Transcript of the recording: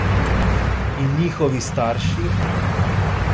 In njihovi starši?